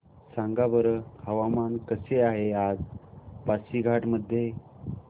सांगा बरं हवामान कसे आहे आज पासीघाट मध्ये